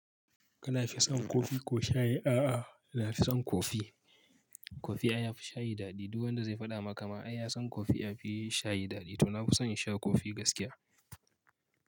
Kana fi son kofi ko shayi? A'a, na fi son kofi. Kofi a yafi shayi daɗi. Duk wanda zai faɗa maka ma ai ya son kofi a fi shayi daɗi. To na fi son in sha kofi gaskiya.